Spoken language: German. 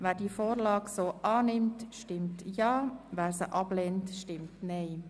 Wer die Vorlage so annimmt, stimmt Ja, wer sie ablehnt, stimmt Nein.